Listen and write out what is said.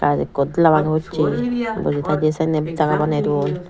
gaj ekku dela bangi pochi boji thiy d sannen jaga baney dun.